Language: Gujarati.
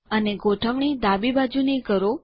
અને ગોઠવણી એલાઇનમેંટ ડાબી બાજુની કરો